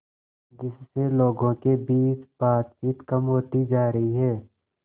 जिससे लोगों के बीच बातचीत कम होती जा रही है